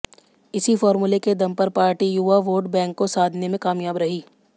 इसी फॉर्मूले के दम पर पार्टी युवा वोट बैंक को साधने में कामयाब रही